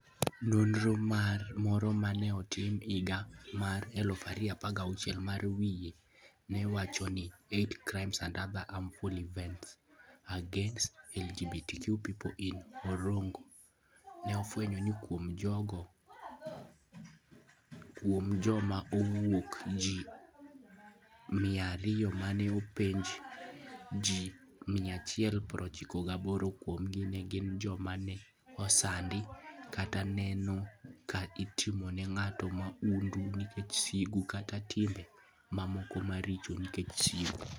Nonro moro ma ne otim e higa mar 2016 ma wiye ne wacho ni "Hate Crimes and Other Hateful Events Against LGBT People in Orongo" ne ofwenyo ni kuom joma okwako ji 200 ma ne openj, ji 198 kuomgi ne gin joma ne osandi kata neno ka itimo ne ng'ato mahundu nikech sigu kata timbe mamoko maricho nikech sigu.